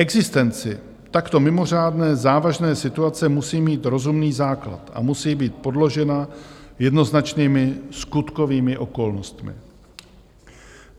Existence takto mimořádné závažné situace musí mít rozumný základ a musí být podložena jednoznačnými skutkovými okolnostmi.